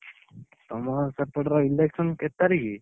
ତମ ସେପଟର election କେତେ ତାରିଖ୍?